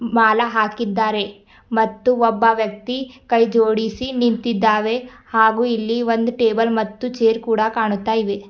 ಮಾಲ ಹಾಕಿದ್ದಾರೆ ಮತ್ತು ಒಬ್ಬ ವ್ಯಕ್ತಿ ಕೈ ಜೋಡಿಸಿ ನಿಂತಿದ್ದಾವೆ ಹಾಗೂ ಇಲ್ಲಿ ಒಂದ್ ಟೇಬಲ್ ಮತ್ತು ಚೇರ್ ಕೂಡ ಕಾಣುತ್ತಾ ಇವೆ.